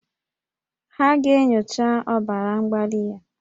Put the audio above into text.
Ha ga-enyocha ọbara mgbali ya